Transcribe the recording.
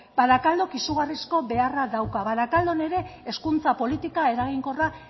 barakaldok izugarrizko beharra dauka barakaldon ere hezkuntza politika eraginkorra